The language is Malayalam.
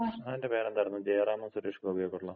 അതിന്‍റെ പേരെന്തായിരുന്നു? ജയറാമും സുരേഷ് ഗോപിയും ഒക്കള്ള.